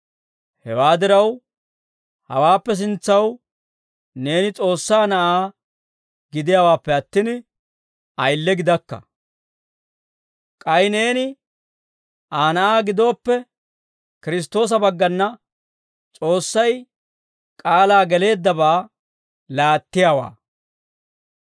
Hewaa diraw, hawaappe sintsaw neeni S'oossaa na'aa gidiyaawaappe attin, ayile gidakka; k'ay neeni Aa na'aa gidooppe, Kiristtoosa baggana S'oossay k'aalaa geleeddabaa laattiyaawaa.